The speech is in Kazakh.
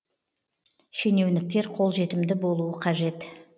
шенеуніктер қолжетімді болуы қажет